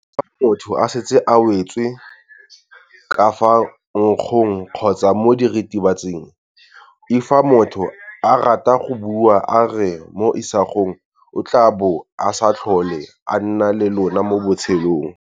l Fa motho a setse a wetse ka fa nkgong kgotsa mo diritibatsing.l Fa motho a rata go bua a re mo isagong o tla bo a sa tlhole a na le lona mo botshelong.